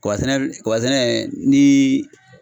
Kaba sɛnɛ kaba sɛnɛ ni